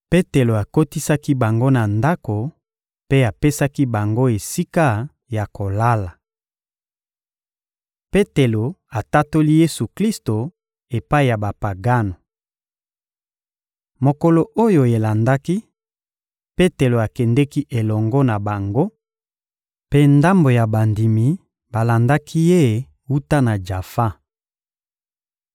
Petelo akotisaki bango na ndako mpe apesaki bango esika ya kolala. Petelo atatoli Yesu-Klisto epai ya Bapagano Mokolo oyo elandaki, Petelo akendeki elongo na bango, mpe ndambo ya bandimi balandaki ye wuta na Jafa.